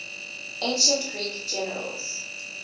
ancient greek generals